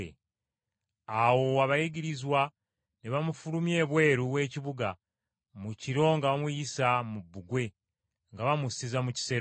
Awo abayigirizwa ne bamufulumya ebweru w’ekibuga mu kiro nga bamuyisa mu bbugwe, nga bamusizza mu kisero.